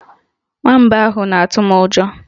Nwamba ahụ na-atụ m ụjọ